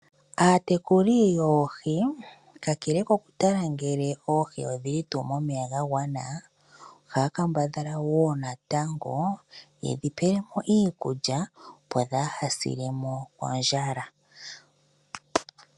Aatekuli yoohi, kakele kokutala ngele oohi odhili tuu momeya gagwana ohaya kambadhala woo natango yedhi pe iikulya opo dhaase kondjala.